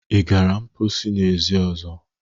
Ị gara mposi n'ezi ọzọ?